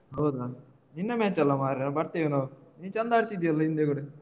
ಹೌದಾ. ನಿನ್ನ match ಅಲ್ಲ ಮಾರೆ ಬರ್ತೇವೆ ನಾವು ನೀನ್ಚಂದ ಆಡ್ತಿದ್ದೀಯಲ್ಲ ಹಿಂದೆ ಕೂಡ.